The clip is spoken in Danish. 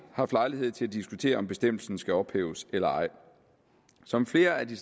haft lejlighed til at diskutere om bestemmelsen skal ophæves eller ej som flere af de